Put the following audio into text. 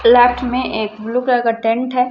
Plot में एक blue colour का टेंट है।